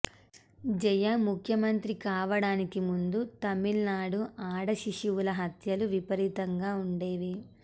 జయ ముఖ్యమంత్రి కావడానికి ముందు తమిళనాడు ఆడశిశువుల హత్యలు విపరీతంగా ఉండేవి